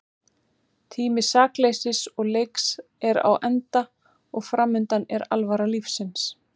Tími sakleysis og leiks er á enda og framundan er alvara lífsins.